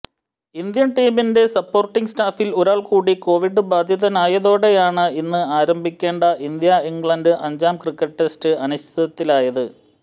Indian ടീമിന്റെ supporting സ്റ്റാഫിൽ ഒരാൾകൂടി കോവിഡ് ബാധിതനായതോടെയാണ് ഇന്ന് ആരംഭിക്കേണ്ട ഇന്ത്യഇംഗ്ലണ്ട് അഞ്ചാം ക്രിക്കറ്റ് ടെസ്റ്റ് അനിശ്ചിതത്വത്തിലായത്